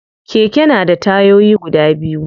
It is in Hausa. Keke na da tayoyi biyu.